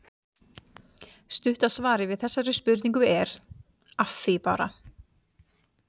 Stutta svarið við þessari spurningu er: Að því bara!